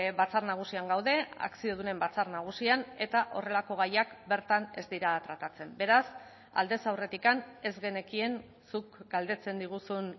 batzar nagusian gaude akziodunen batzar nagusian eta horrelako gaiak bertan ez dira tratatzen beraz aldez aurretik ez genekien zuk galdetzen diguzun